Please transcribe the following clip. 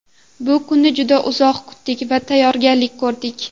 Bu kunni juda uzoq kutdik va tayyorgarlik ko‘rdik.